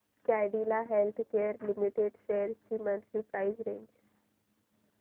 Cadila healthcare limited shares ची monthly price range